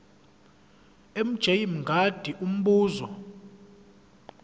mj mngadi umbuzo